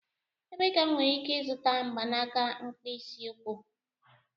Ebee ka m nwere ike ịzụta mgbanaka mkpịsị ụkwụ?